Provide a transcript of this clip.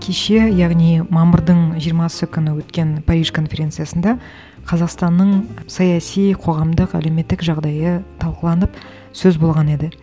кеше яғни мамырдың жиырмасы күні өткен париж конференциясында қазақстанның саяси қоғамдық әлеуметтік жағдайы талқыланып сөз болған еді